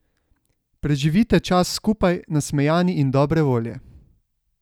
Preživite čas skupaj nasmejani in dobre volje!